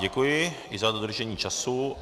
Děkuji i za dodržení času.